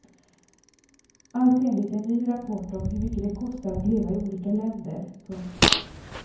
Allt enligt en ny rapport om hur mycket det kostar att leva i olika länder. punkt